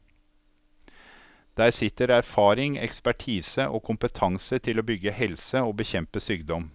Der sitter erfaring, ekspertise og kompetanse til å bygge helse og bekjempe sykdom.